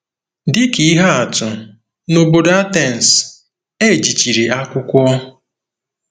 Dị ka ihe atụ, n'obodo Atens, e jichiri akwụkwọ.